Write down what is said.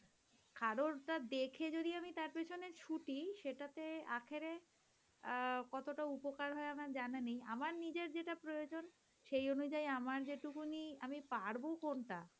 কারোর দেখে যদি আমি তার পেছনে ছুটি সেটাতে আখেরে অ্যাঁ কতটা উপকার হয় আমার জানা নেই আমার নিজের যেটা প্রয়োজন সেই অনুযায়ী আমার যেটুকুনি আমি পারবো কোন টা